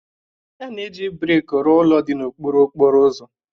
A na-eji brik rụọ ụlọ dị n'okpuru okporo ụzọ